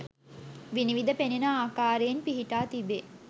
විනිවිද පෙනෙන ආකාරයෙන් පිහිටා තිබේ.